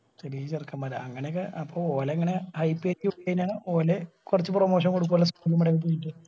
ചെറിയ ചെറുക്കന്മാര് അങ്ങനെയൊക്കെ അപ്പൊ ഓല് അങ്ങനെ hype കേറ്റി വിട്ടികയിഞ്ഞാൽ ഓല് കൊർച് promotion കൊടുക്കുവല്ലോ നമ്മുടെ